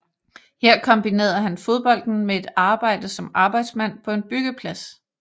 Her kombinerede han fodbolden med et arbejde som arbejdsmand på en byggeplads